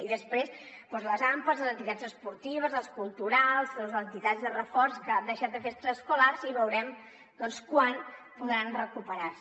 i després doncs les ampas les entitats esportives les culturals les entitats de reforç que han deixat de fer extraescolars i veurem doncs quan podran recuperar se